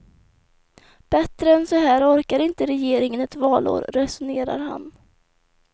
Bättre än så här orkar inte regeringen ett valår, resonerar han.